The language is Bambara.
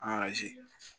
A